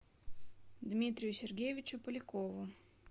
дмитрию сергеевичу полякову